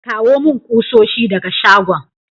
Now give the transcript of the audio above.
Kawo mun kusoshi daga shagon.